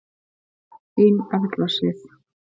Þín Erla Sif.